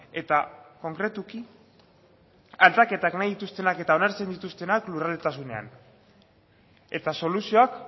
eta konkretuki aldaketak nahi dituztenak eta onartzen dituztenak lurraldetasunean eta soluzioak